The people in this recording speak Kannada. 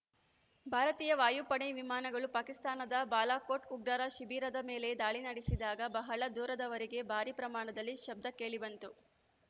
ಭಾರತೀಯ ವಾಯುಪಡೆ ವಿಮಾನಗಳು ಪಾಕಿಸ್ತಾನದ ಬಾಲಾಕೋಟ್‌ ಉಗ್ರರ ಶಿಬಿರದ ಮೇಲೆ ದಾಳಿ ನಡೆಸಿದಾಗ ಬಹಳ ದೂರದವರೆಗೆ ಭಾರಿ ಪ್ರಮಾಣದ ಶಬ್ದ ಕೇಳಿಬಂತು